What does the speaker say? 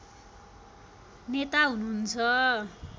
नेता हुनुहुन्छ